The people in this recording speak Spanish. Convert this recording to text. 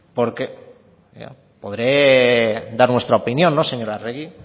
porque podré dar nuestra opinión no señora arregi